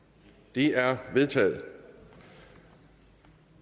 de er vedtaget